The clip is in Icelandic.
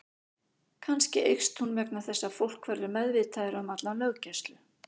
Kannski eykst hún vegna þess að fólk verður meðvitaðra um alla löggæslu.